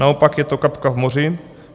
Naopak je to kapka v moři.